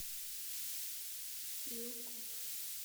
лил пип